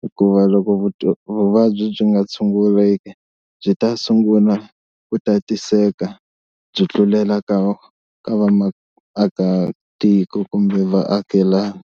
hikuva loko vuvabyi byi nga tshunguleki byi ta sungula ku tatiseka byi tlulela ka vamaakatiko kumbe vaakelani.